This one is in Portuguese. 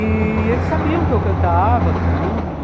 E eles sabiam que eu cantava tudo, né?